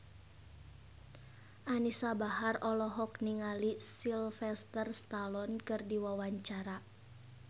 Anisa Bahar olohok ningali Sylvester Stallone keur diwawancara